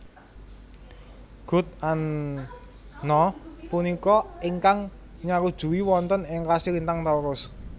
Gud An na punika ingkang nyarujui wonten ing rasi lintang Taurus